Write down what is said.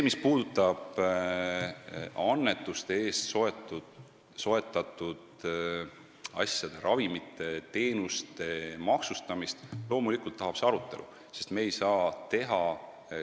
Mis puudutab annetuste eest soetatud asjade, ravimite, teenuste maksustamist, siis loomulikult tuleb seda arutada.